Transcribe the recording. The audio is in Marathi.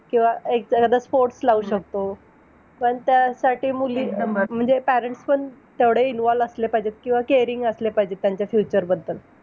किंवा एक sports लावू शकतो. पण त्यासाठी मुली अं म्हणजे parents पण तेवढे involved असले पाहिजेत किंवा caring असले पाहिजे. त्यांच्या future बद्दल.